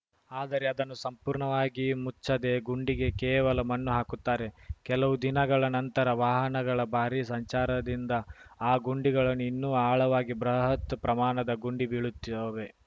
ಆದರೆ ಅದನ್ನು ಸಂಪೂರ್ಣವಾಗಿ ಮುಚ್ಚದೆ ಗುಂಡಿಗೆ ಕೇವಲ ಮಣ್ಣು ಹಾಕುತ್ತಾರೆ ಕೆಲವು ದಿನಗಳ ನಂತರ ವಾಹನಗಳ ಬಾರಿ ಸಂಚಾರದಿಂದ ಆ ಗುಂಡಿಗಳನ್ನೂ ಇನ್ನೂ ಆಳವಾಗಿ ಬೃಹತ್‌ ಪ್ರಮಾಣದ ಗುಂಡಿ ಬೀಳುತ್ತವೆ